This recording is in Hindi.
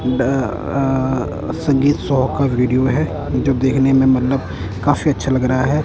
अह संगीत शो का वीडियो है जो देखने में मतलब काफी अच्छा लग रहा है।